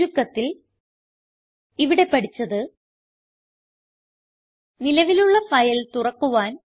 ചുരുക്കത്തിൽ ഇവിടെ പഠിച്ചത് നിലവിലുള്ള ഫയൽ തുറക്കുവാൻ